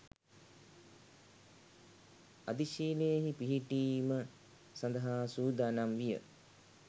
අධිශීලයෙහි පිහිටීම සඳහා සූදානම් විය.